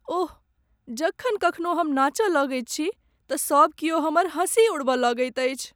ओह, जखन कखनो हम नाचय लगैत छी तँ सभ क्यौ हमर हंसी उड़बय लगैत अछि।